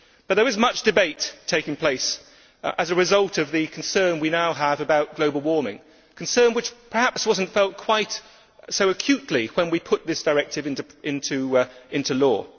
However, there is much debate taking place as a result of the concern we now have about global warning, concern which perhaps was not felt quite so acutely when we put this directive into law.